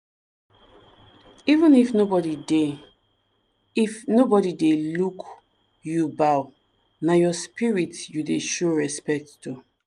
even if nobody dey if nobody dey look you bow—na your spirit you dey show respect to.